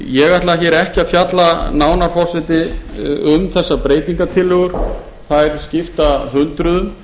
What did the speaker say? ég ætla ekki virðulegi forseti að fjalla nánar um þessar breytingartillögur þær skipta hundruðum